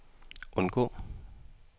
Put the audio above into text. undgå